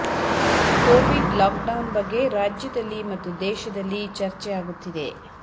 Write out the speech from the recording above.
Covid lockdown ಬಗ್ಗೆ ರಾಜ್ಯದಲ್ಲಿ ಮತ್ತು ದೇಶದಲ್ಲಿ ಚರ್ಚೆ ಆಗುತ್ತಿದೆ